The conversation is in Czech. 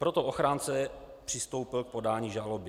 Proto ochránce přistoupil k podání žaloby.